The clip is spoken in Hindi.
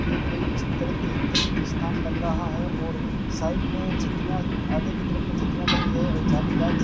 ये कोई इस तीर्थ तीर्थ स्थान लग रहा है और साइड में छतरियां आगे की तरफ में छतरियां लगी है और जालीदार --